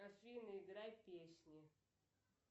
афина играй песни